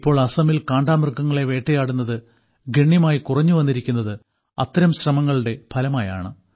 ഇപ്പോൾ അസാമിൽ കാണ്ടാമൃഗങ്ങളെ വേട്ടയാടുന്നത് ഗണ്യമായി കുറഞ്ഞുവന്നിരിക്കുന്നത് അത്തരം ശ്രമങ്ങളുടെ ഫലമായാണ്